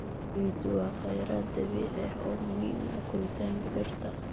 Ciiddu waa kheyraad dabiici ah oo muhiim u ah koritaanka dhirta.